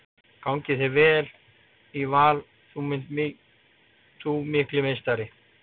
Gangi þér vel í Val þú mikli meistari!